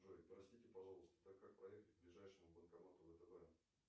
джой простите пожалуйста так как проехать к ближайшему банкомату втб